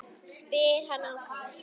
spyr hann ákafur.